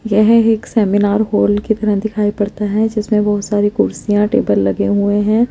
ये एक सेमीनार की तरह दिखाई पड़ता है जिसमे बोहोत सारे कुर्सिया टेबल लगे हुए है।